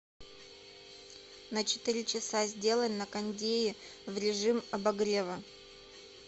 на четыре часа сделай на кондее в режим обогрева